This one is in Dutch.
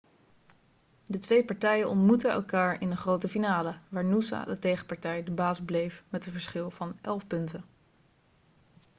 de twee partijen ontmoetten elkaar in de grote halve finale waar noosa de tegenpartij de baas bleef met een verschil van 11 punten